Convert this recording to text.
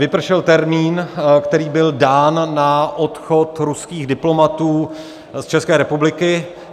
Vypršel termín, který byl dán na odchod ruských diplomatů z České republiky.